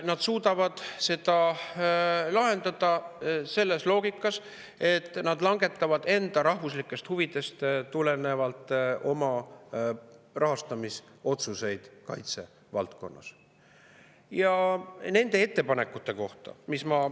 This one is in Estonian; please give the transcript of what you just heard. Nad suudavad seda lahendada selles loogikas, et nad langetavad rahastamisotsuseid kaitsevaldkonnas enda rahvuslikest huvidest tulenevalt.